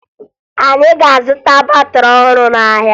Anyị ga-azụta batịrị ọhụrụ n'ahịa